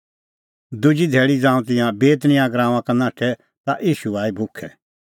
दुजी धैल़ी ज़ांऊं तिंयां बेतनियाह गराऊंआं का नाठै ता ईशू आई भुखै